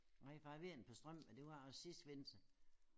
Nej for jeg var ved et par strømper men det var også sidste vinter